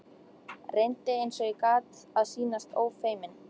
Reyndi eins og ég gat að sýnast ófeiminn.